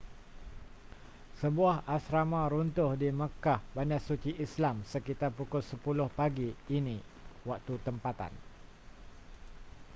sebuah asrama runtuh di makkah bandar suci islam sekitar pukul 10 pagi ini waktu tempatan